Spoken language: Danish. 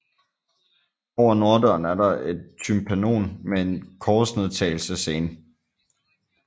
Over norddøren er der et tympanon med en korsnedtagelsesscene